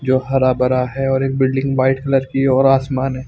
जो हरा भरा है और एक बिल्डिंग वाइट कलर की और आसमान में--